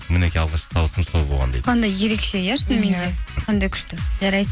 мінекей алғашқы табысым сол болған дейді қандай ерекше иә шынымен де қандай күшті